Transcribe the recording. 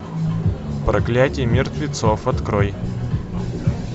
проклятье мертвецов открой